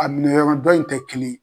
A minɛ yɔrɔn dɔ in tɛ kelen ye.